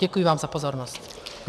Děkuji vám za pozornost.